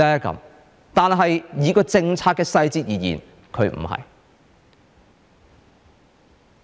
從政策的細節而言，它不是。